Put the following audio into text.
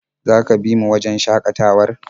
Za ka bi mu wajen shakatawar?